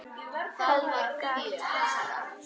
Helga Kjaran.